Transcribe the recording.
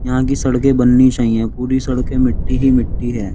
यहाँ की सड़के बननी चाहिए। पूरी सड़कें मिट्टी ही मिट्टी है।